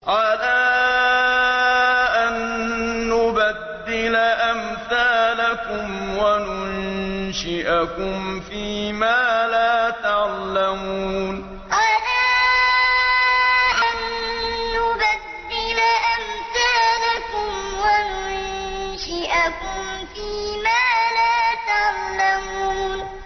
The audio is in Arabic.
عَلَىٰ أَن نُّبَدِّلَ أَمْثَالَكُمْ وَنُنشِئَكُمْ فِي مَا لَا تَعْلَمُونَ عَلَىٰ أَن نُّبَدِّلَ أَمْثَالَكُمْ وَنُنشِئَكُمْ فِي مَا لَا تَعْلَمُونَ